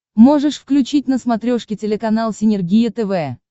можешь включить на смотрешке телеканал синергия тв